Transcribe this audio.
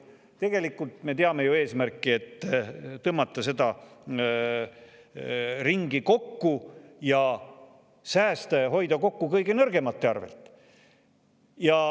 Tegelikult me teame ju eesmärki: et tõmmata seda ringi kokku ja säästa, hoida kokku kõige nõrgemate arvelt.